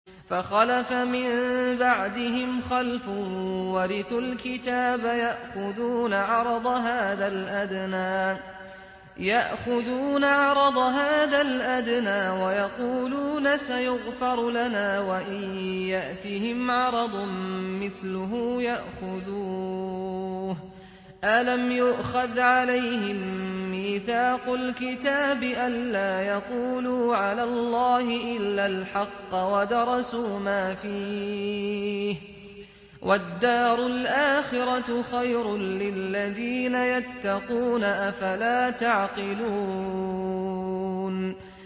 فَخَلَفَ مِن بَعْدِهِمْ خَلْفٌ وَرِثُوا الْكِتَابَ يَأْخُذُونَ عَرَضَ هَٰذَا الْأَدْنَىٰ وَيَقُولُونَ سَيُغْفَرُ لَنَا وَإِن يَأْتِهِمْ عَرَضٌ مِّثْلُهُ يَأْخُذُوهُ ۚ أَلَمْ يُؤْخَذْ عَلَيْهِم مِّيثَاقُ الْكِتَابِ أَن لَّا يَقُولُوا عَلَى اللَّهِ إِلَّا الْحَقَّ وَدَرَسُوا مَا فِيهِ ۗ وَالدَّارُ الْآخِرَةُ خَيْرٌ لِّلَّذِينَ يَتَّقُونَ ۗ أَفَلَا تَعْقِلُونَ